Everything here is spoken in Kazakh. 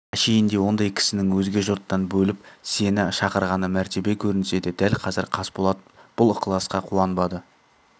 әшейінде ондай кісінің өзге жұрттан бөліп сені шақырғаны мәртебе көрінсе де дәл қазір қасболат бұл ықыласқа қуанбады